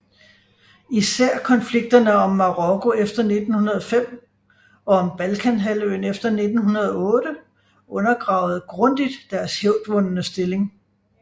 Især konflikterne om Marokko efter 1905 og om Balkanhalvøen efter 1908 undergravede grundigt deres hævdvundne stilling